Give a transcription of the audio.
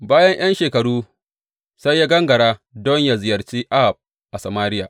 Bayan ’yan shekaru sai ya gangara don yă ziyarci Ahab a Samariya.